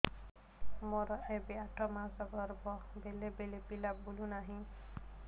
ମୋର ଏବେ ଆଠ ମାସ ଗର୍ଭ ବେଳେ ବେଳେ ପିଲା ବୁଲୁ ନାହିଁ